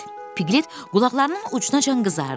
Piqlet qulaqlarının ucunacan qızardı.